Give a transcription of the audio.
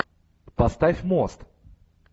поставь мост